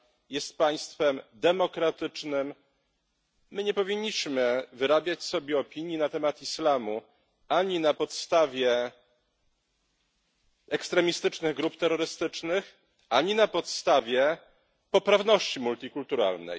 Jest państwem demokratycznym. My nie powinniśmy wyrabiać sobie opinii na temat islamu ani na podstawie ekstremistycznych grup terrorystycznych, ani na podstawie poprawności multikulturalnej.